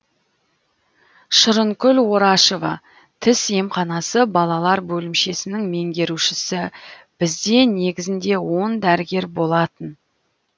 шырынкүл орашева тіс емханасы балалар бөлімшесінің меңгерушісі бізде негізінде он дәрігер болатын